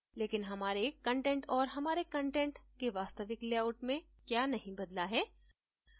लेकिन हमारे कंटेंट और हमारे कंटेंट के वास्तविक layout में क्या नहीं बदला है